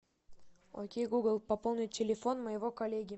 окей гугл пополнить телефон моего коллеги